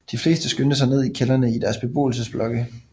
De fleste skyndte sig ned i kældrene i deres beboelsesblokke